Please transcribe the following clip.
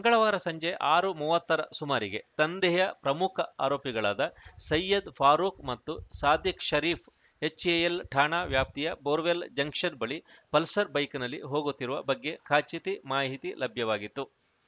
ಮಂಗಳವಾರ ಸಂಜೆ ಆರು ಮೂವತ್ತರ ಸುಮಾರಿಗೆ ದಂಧೆಯ ಪ್ರಮುಖ ಆರೋಪಿಗಳಾದ ಸಯ್ಯದ್‌ ಫಾರೂಕ್‌ ಮತ್ತು ಸಾದಿಕ್‌ ಶರೀಫ್‌ ಎಚ್‌ಎಎಲ್‌ ಠಾಣಾ ವ್ಯಾಪ್ತಿಯ ಬೋರ್‌ವೆಲ್‌ ಜಂಕ್ಷನ್‌ ಬಳಿ ಪಲ್ಸರ್‌ ಬೈಕ್‌ನಲ್ಲಿ ಹೋಗುತ್ತಿರುವ ಬಗ್ಗೆ ಖಚಿತಿ ಮಾಹಿತಿ ಲಭ್ಯವಾಗಿತ್ತು